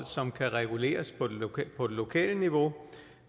som kan reguleres på det lokale niveau